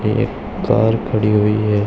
एक कार खड़ी हुई है।